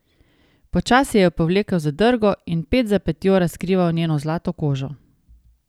Počasi je povlekel zadrgo in ped za pedjo razkrival njeno zlato kožo.